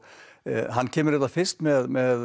hann kemur hérna fyrst með